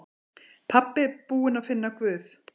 Pabbi búinn að finna Guð!